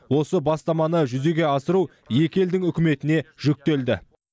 осы бастаманы жүзеге асыру екі елдің үкіметіне жүктелді